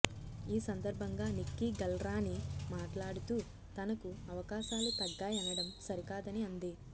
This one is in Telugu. ఈ సందర్భంగా నిక్కీగల్రాణి మాట్లాడుతూ తనకు అవకాశాలు తగ్గాయనడం సరికాదని అంది